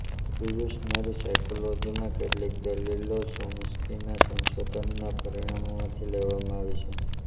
evolutionary સાયકોલોજીમાં કેટલીક દલીલો ચોમ્સ્કીના સંશોધનનાં પરિણામોમાંથી લેવામાં આવી છે